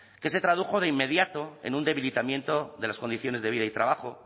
que se tradujo de inmediato en un debilitamiento de las condiciones de vida y trabajo